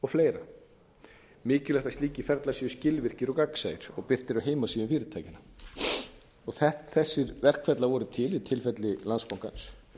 fleira mikilvægt að slíkir ferlar séu skilvirkir og gagnsæir og birtir a heimasíðum fyrirtækjanna þessir verkferlar voru til í tilfelli landsbankans